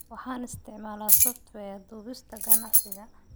Waxaan isticmaalaa software duubista ganacsiga.